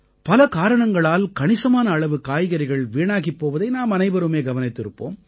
பல காரணங்களால் கணிசமான அளவு காய்கறிகள் வீணாகிப் போவதை நாம் அனைவருமே கவனித்திருப்போம்